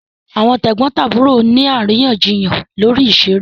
Àwọn tẹ̀gbọ́ntàbúrò ni àríyànjiyàn lórí ìṣeré